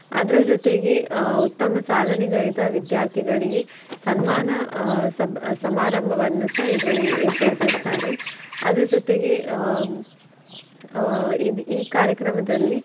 ಅದರ ಜೊತೆಗೆ ಆಹ್ ಉತ್ತಮ ಸಾಧನೆಗೈದ ವಿದ್ಯಾರ್ಥಿಗಳಿಗೆ ಸನ್ಮಾನ ಆಹ್ ಸಬ್~ ಸಮಾರಂಭವನ್ನುಸ ಇದ್ರಲ್ಲಿ ಏರ್ಪಡಿಸಿರುತ್ತಾರೆ. ಅದರ ಜೊತೆಗೆ ಆಹ್ ಆಹ್ ಇದ್ ಈ ಕಾರ್ಯಕ್ರಮದಲ್ಲಿ.